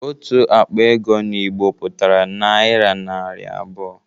Otu akpa ego n'Igbo pụtara naira narị abụọ